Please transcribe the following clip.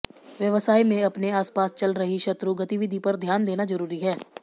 व्यवसाय में अपने आसपास चल रही शत्रु गतिविधि पर ध्यान देना जरूरी है